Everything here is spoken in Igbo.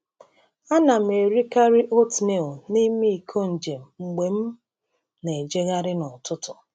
Ana m erikarị oatmeal n’ime iko njem mgbe m na-ejegharị n’ụtụtụ.